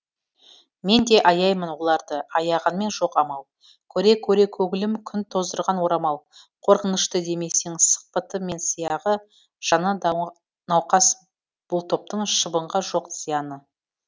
мен де аяймын оларды аяғанмен жоқ амал көре көре көңілім күн тоздырған орамал қорқынышты демесең сықпыты мен сияғы жаны науқас бұл топтың шыбынға жоқ зияны